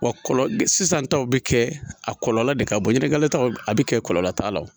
Wa kɔlɔsi sisan taw bi kɛ a kɔlɔlɔ de ka bɔ ɲɛnakali taw bi kɛ kɔlɔlɔ t'a la wo